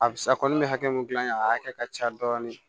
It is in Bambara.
A bɛ sa kɔni bɛ hakɛ mun gilan a hakɛ ka ca dɔɔni